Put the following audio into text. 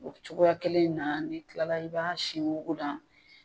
O cogoya kelen in na ni kila la i b'a sin wugu la.